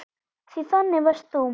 Því þannig varst þú.